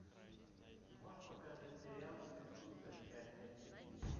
можешь показать сериал ты супер часть один